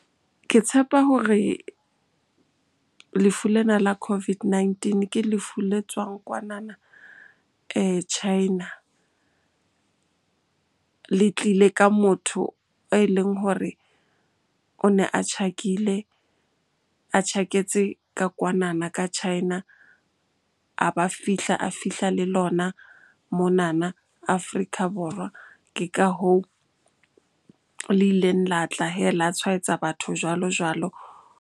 Ke tshepa hore lefu lena la COVID-19 ke lefu le tswang kwanana China. Le tlile ka motho e leng hore o ne a tjhakile, a tjhaketse ka kwanana ka China. A ba fihla, a fihla le lona monana Afrika Borwa. Ke ka hoo le ileng la tla hee la tshwaetsa batho jwalo-jwalo.